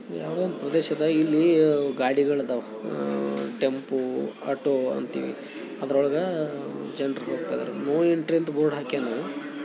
ಯಾವುದೋ ಒಂದು ಪ್ರದೇಶದ ಇಲ್ಲಿ ಗಾಡಿಗಳು ಇದವುಯಾವುದೋ ಒಂದು ಟೆಂಪೂ ಆಟೋ ಅದರೊಳಗ ಜನರು ಹೋಗ್ತಿದ್ದಾರೆ ನೋ ಎಂಟ್ರಿ ಅಂತ ಬೋರ್ಡ್ ಹಾಕಿದ್ದಾರೆ